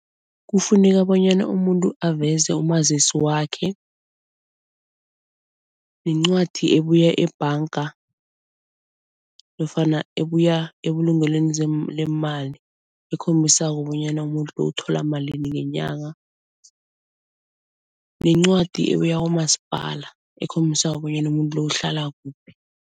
Kufuneka bonyana umuntu aveze umazisi wakhe, nencwadi ebuya ebhanga nofana ebuya ebulungelweni leemali ekhombisako bonyana umuntu lo uthola malini ngenyanga nencwadi ebuya kwamasipala ekhombisako bonyana umuntu lo uhlala kuphi.